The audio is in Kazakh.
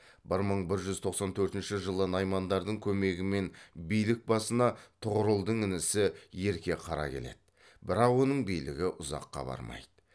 бір мың бір жүз тоқсан төртінші жылы наймандардың көмегімен билік басына тұғырылдың інісі ерке қара келеді бірақ оның билігі ұзаққа бармайды